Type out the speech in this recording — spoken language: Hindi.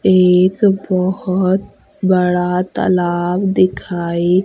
एक बहोत बड़ा तालाब दिखाई--